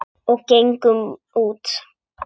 Og gengum út.